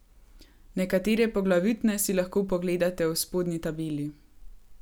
Nekatere poglavitne si lahko pogledate v spodnji tabeli.